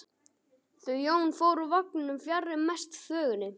Þau Jón fóru úr vagninum fjarri mestu þvögunni.